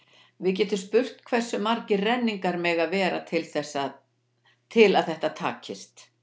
við getum spurt hversu margir renningarnir mega vera til að þetta takist